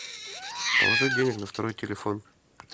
положить денег на второй телефон